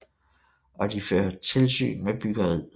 Og de fører tilsyn med byggeriet